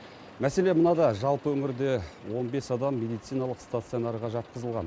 мәселе мынада жалпы өңірде он бес адам медициналық стационарға жатқызылған